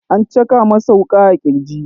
An caka masa wuka a kirji.